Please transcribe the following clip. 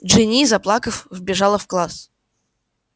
джинни заплакав вбежала в класс